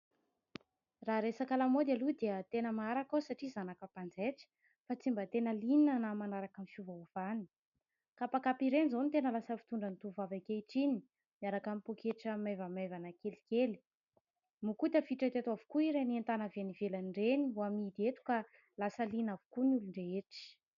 Raha resaka lamaody aloha dia tena maharaka aho satria zanaka mpanjaitra. Fa tsy mba tena liana na manaraka ny fiovaovany. Kapakapa ireny izao no tena lasa fitondran'ny tovovavy ankehitriny miaraka amin'ny pôketra maivamaivana kelikely. Moa koa tafiditra teto avokoa ireny entana avy any ivelany ireny ho amidy eto ka lasa liana avokoa ny olon-drehetra.